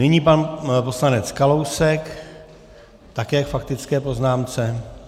Nyní pan poslanec Kalousek také k faktické poznámce.